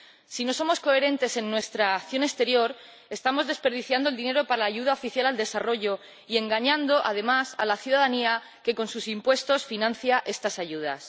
Si no somos coherentes en nuestra acción exterior estamos desperdiciando el dinero para la ayuda oficial al desarrollo y engañando, además, a la ciudadanía que, con sus impuestos, financia estas ayudas.